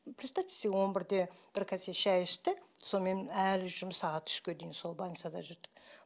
представьте себе он бірде бір кесе шай ішті сонымен әлі жүрміз сағат үшке дейін сол больницада жүрді